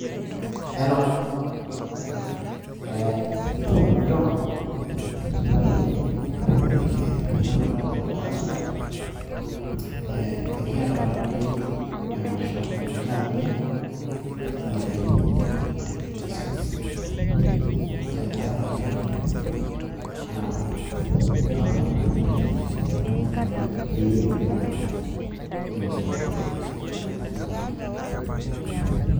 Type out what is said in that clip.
Hello! ee hello John, supa toi ee nanu taatoi ilo, ira supat? ee kiata taatoi emasho nikiata tiang' intarikini cs[twenty six, ele likai apa le April naa kaomon naaji paa tenaa aitumoki ayeu ni join iyiook ina olong' tilo sirwa ashu tina masho.